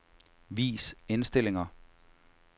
Vis indstillinger.